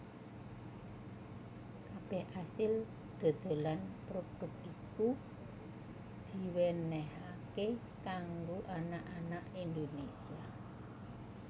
Kabeh asil dodolan prodhuk iku diwenenhaké kanggo anak anak Indonésia